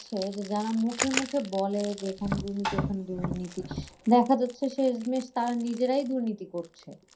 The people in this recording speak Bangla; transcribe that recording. যে যারা মুখে মুখে বলে যে এখানে দুর্নীতি ওখানে দুর্নীতি দেখা যাচ্ছে শেষ মেষ তারা নিজেরাই দুর্নীতি করছে।